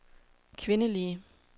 kvindelige